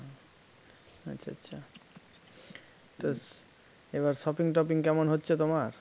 আচ্ছা আচ্ছা তা এবার shopping টপিং কেমন হচ্ছে তোমার?